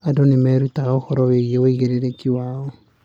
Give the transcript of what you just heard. Andũ nĩ mareruta ũhoro wĩgiĩ wĩigĩrĩrĩki wao.